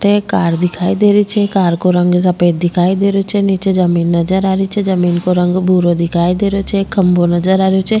एक कार दिखाई दे रही छे कार को रंग सफेद दिखाई दे रियो छे नीचे जमींन नजर आ रही छे जमींन को रंग भूरा दिखाई दे रियो छे एक खम्भों नजर आ रहियो छे।